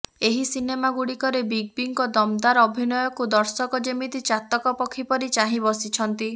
ଏହି ସିନେମା ଗୁଡିକରେ ବିଗ ବିଙ୍କ ଦମଦାର ଅଭିନୟକୁ ଦର୍ଶକ ଯେମିତି ଚାତକ ପକ୍ଷୀ ପରି ଚାହିଁ ବସିଛନ୍ତି